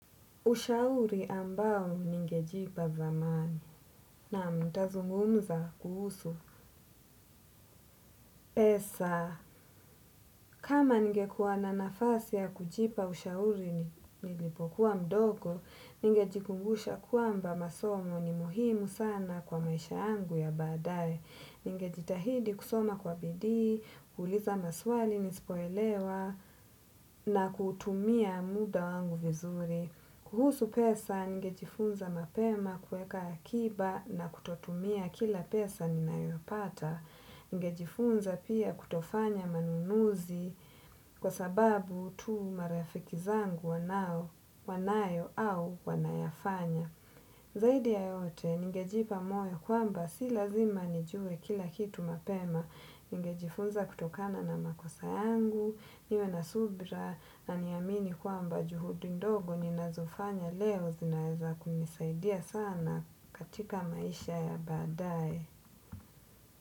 Ushauri ambao ningejipa zamani. Na mtazungumza kuhusu pesa. Kama ningekuwa na nafasi ya kujipa ushauri nilipokuwa mdogo, ningejikumbusha kwamba masomo ni muhimu sana kwa maisha yangu ya baadae. Ninge jitahidi kusoma kwa bidii, kuuliza maswali nispoelewa na kutumia muda wangu vizuri. Kuhusu pesa, ningejifunza mapema kueka akiba na kutotumia kila pesa ninayopata. Ningejifunza pia kutofanya manunuzi kwa sababu tu marafiki zangu wanayo au wanayafanya zaidi ya yote, ningejipa moyo kwamba si lazima nijue kila kitu mapema, ningejifunza kutokana na makosa yangu, niwe na subira, na niamini kwamba juhudi ndogo ninazofanya leo zinaeza kunisaidia sana katika maisha ya baadaye.